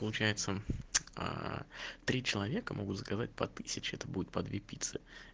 получается аа три человека могут заказать по тысяче это будет по две пиццы